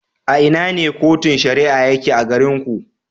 A ina ne Cotun Shari'a yake a garin ku.